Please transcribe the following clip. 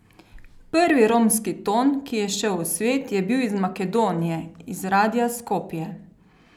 Prvi romski ton, ki je šel v svet, je bil iz Makedonije, iz radia Skopje.